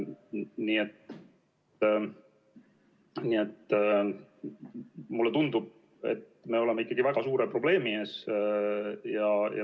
Nii et mulle tundub, et me oleme ikkagi väga suure probleemi ees.